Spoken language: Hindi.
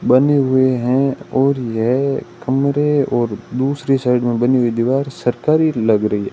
बने हुए हैं और यह कमरे और दूसरी साइड में बनी हुई दीवार सरकारी लग रही है।